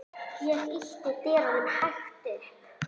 Ég ýtti dyrunum hægt upp.